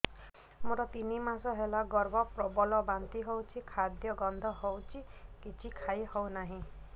ମୋର ତିନି ମାସ ହେଲା ଗର୍ଭ ପ୍ରବଳ ବାନ୍ତି ହଉଚି ଖାଦ୍ୟ ଗନ୍ଧ ହଉଚି କିଛି ଖାଇ ହଉନାହିଁ